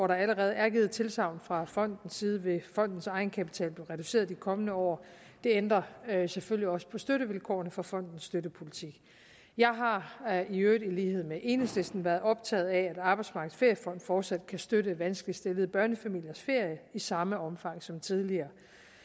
der allerede er givet tilsagn fra fondens side vil fondens egenkapital blive reduceret de kommende år det ændrer selvfølgelig også ved støttevilkårene for fondens støttepolitik jeg har i øvrigt i lighed med enhedslisten været optaget af at arbejdsmarkedets feriefond fortsat kan støtte vanskeligt stillede børnefamiliers ferier i samme omfang som tidligere